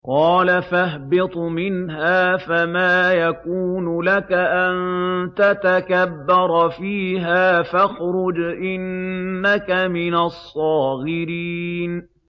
قَالَ فَاهْبِطْ مِنْهَا فَمَا يَكُونُ لَكَ أَن تَتَكَبَّرَ فِيهَا فَاخْرُجْ إِنَّكَ مِنَ الصَّاغِرِينَ